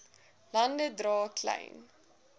lande dra klein